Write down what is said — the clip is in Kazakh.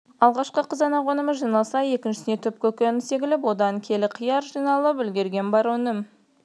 алғашқы қызанақ өнімі жиналса екіншісіне түп көкөніс егіліп одан келі қияр жиналып үлгерген бар өнім